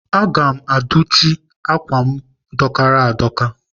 Aga m adụchị m ákwà m dọkara adọka